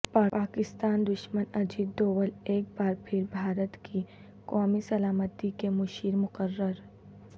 پاکستان دشمن اجیت دوول ایک بار پھر بھارت کی قومی سلامتی کے مشیر مقرر